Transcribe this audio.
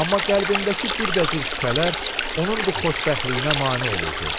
Amma qəlbindəki cürbəcür şübhələr onun bu xoşbəxtliyinə mane olurdu.